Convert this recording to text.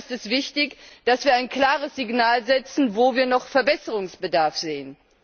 Und deshalb ist es wichtig, dass wir ein klares Signal setzen, wo wir noch Verbesserungsbedarf sehen.